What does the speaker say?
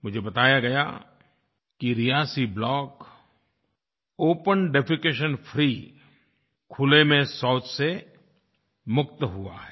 मुझे बताया गया कि Reasi block open defecation free खुले में शौच से मुक्त हुआ है